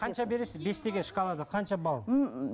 қанша бересіз бес деген шкалада қанша балл